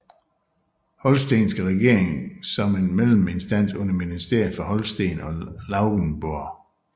Holstenske Regering som en melleminstans under Ministeriet for Holsten og Lauenborg